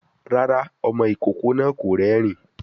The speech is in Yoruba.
Rárá, ọmọ ìkókó náà kò rérìn-ín